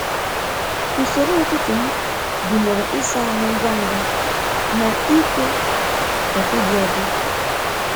Usoro ụtụtụ m gụnyere ịsa ahụ ngwa ngwa na iko kọfị dị ọkụ.